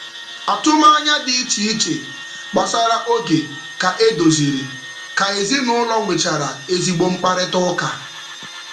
Atụmanya dị iche iche gbasara oge ka e doziri ka ezinụụlọ nwechara ezigbo mkparịtaụka.